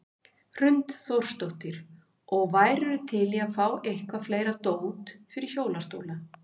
Hrund Þórsdóttir: Og værirðu til í að fá eitthvað fleira dót fyrir hjólastóla?